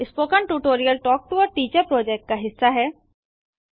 spoken tutorial talk to a teacher project का हिस्सा है